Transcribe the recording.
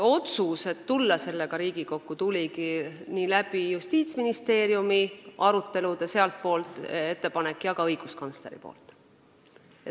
Otsus tulla sellega Riigikokku tuli Justiitsministeeriumi arutelude kaudu, sealtpoolt tuli ettepanek ja ka õiguskantslerilt.